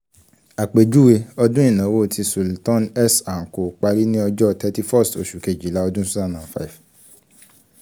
apejuwe: ọdun inawo ti sultan s & co pari ni ọjọ thirty-first oṣu kejila ọdun two thousand and five